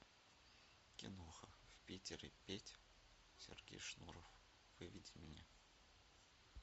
киноха в питере петь сергей шнуров выведи мне